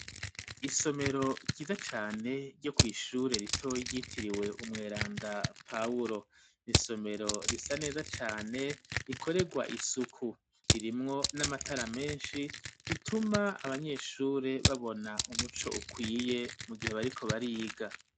Isomero ryiza cane ryo kw'ishure rito yitiriwe umweranda poul nisomero risa neza cane rikorerwa isuku ririmwo n'amatara meshi bituma abanyeshure babona umuco ukwiye mu gihe bariko bariga.